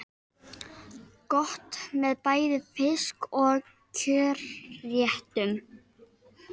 En leiðir jarðvistarinnar geta tekið óvænta stefnu.